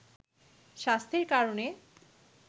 স্বাস্থ্যের কারণে